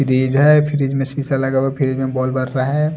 Fridge है fridge में शीशा लगा हुआ फ्रिज में बॉल बर रहा है।